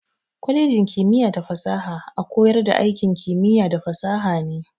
Kwalejin kimiyya da fasaha a koyar da aikin kimiyya da fasaha ne.